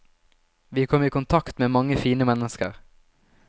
Vi kom i kontakt med mange fine mennesker.